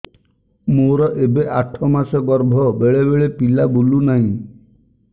ମୋର ଏବେ ଆଠ ମାସ ଗର୍ଭ ବେଳେ ବେଳେ ପିଲା ବୁଲୁ ନାହିଁ